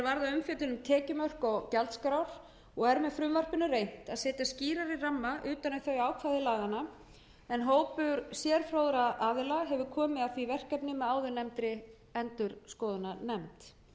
um tekjumörk og gjaldskrár og er með frumvarpinu reynt að setja skýrari ramma utan um þau ákvæði laganna en hópur sérfróðra aðila hefur komið að því verkefni með áðurnefndri endurskoðunarnefnd